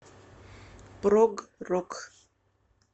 прог рок